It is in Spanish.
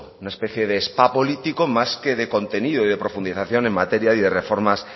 una especie de spa político más que de contenido y de profundización de materia y de reformas